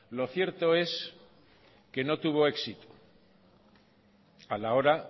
lo cierto es que no tuvo éxito a la hora